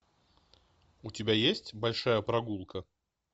у тебя есть большая прогулка